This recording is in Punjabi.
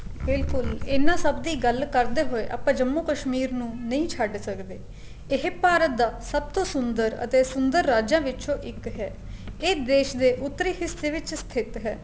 ਬਿਲਕੁਲ ਇਨ੍ਹਾਂ ਸਭ ਦੀ ਗੱਲ ਕਰਦੇ ਹੋਏ ਆਪਾਂ ਜੰਮੂ ਕਸ਼ਮੀਰ ਨੂੰ ਨਹੀਂ ਛੱਡ ਸਕਦੇ ਇਹ ਭਾਰਤ ਦਾ ਸਭ ਤੋਂ ਸੁੰਦਰ ਅਤੇ ਸੁੰਦਰ ਰਾਜਾ ਵਿੱਚੋ ਇੱਕ ਹੈ ਇਹ ਦੇਸ਼ ਦੇ ਉੱਤਰੀ ਹਿੱਸੇ ਵਿੱਚ ਸਥਿਤ ਹੈ